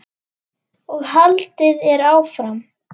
og haldið er áfram.